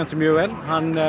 mjög vel